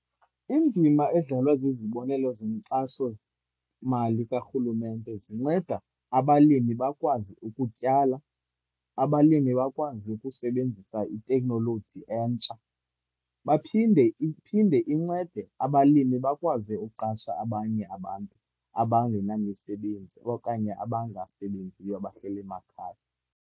Indima edlalwa zizibonelo zenkxasomali karhulumente, zinceda abalimi bakwazi ukutyala, abalimi bakwazi ukusebenzisa iteknoloji entsha. Baphinde, iphinde incede abalimi bakwazi ukuqasha abanye abantu abangenamisebenzi, okanye abangasebenziyo abahleli emakhaya.